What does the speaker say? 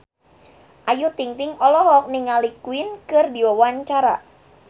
Ayu Ting-ting olohok ningali Queen keur diwawancara